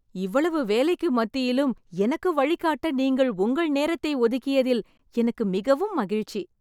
இவ்வளவு வேலைக்கு மத்தியிலும் எனக்கு வழிகாட்ட நீங்கள் உங்கள் நேரத்தை ஒதுக்கியத்தில் எனக்கு மிகவும் மகிழ்ச்சி.